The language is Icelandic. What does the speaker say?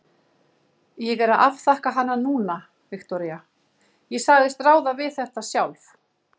Ég er að afþakka hana núna, Viktoría, ég sagðist ráða við þetta sjálf.